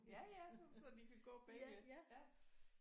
Ja ja som sådan de kan gå bagved